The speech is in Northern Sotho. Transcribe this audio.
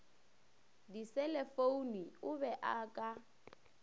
diselefoune o be a ka